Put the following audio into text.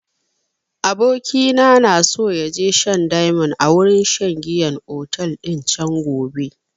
Abokina na so ya je shan diamond a wurin shan giyan otel din can gobe